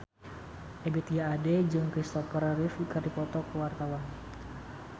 Ebith G. Ade jeung Kristopher Reeve keur dipoto ku wartawan